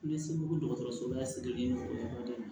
N bɛ segu dɔgɔtɔrɔso la siriki o yɔrɔ de la